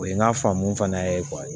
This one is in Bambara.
O ye n ka faamu fana ye